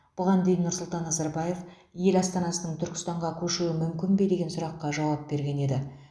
бұған дейін нұрсұлтан назарбаев ел астанасының түркістанға көшуі мүмкін бе деген сұраққа жауап берген еді